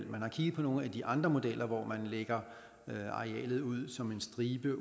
man har kigget på nogle af de andre modeller hvor man lægger arealet ud som en stribe